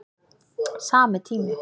Sami tími